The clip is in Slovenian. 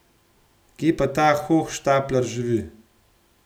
Kje pa ta hohštaplar živi.